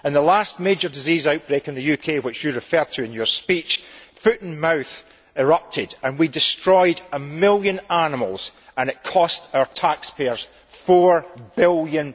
In the last major disease outbreak in the UK which you referred to in your speech, foot and mouth erupted and we destroyed a million animals and it cost our taxpayers GBP 4 billion.